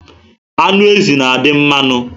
Anụ ezi na adị mmanụ